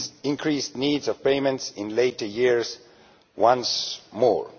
increased need for payments in later years once more.